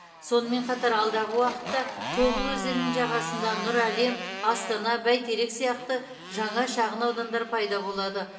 сонымен қатар алдағы уақытта тобыл өзенінің жағасында нұр әлем астана бәйтерек сияқты жаңа шағын аудандар пайда болады